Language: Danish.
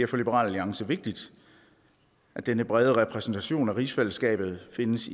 for liberal alliance vigtigt at denne brede repræsentation af rigsfællesskabet findes